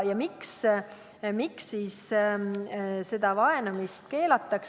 Miks sellist vaenamist keelatakse?